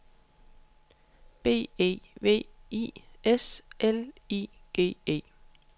B E V I S L I G E